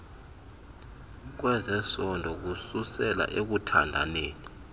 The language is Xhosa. kwezesondo kususela ekuthandaneni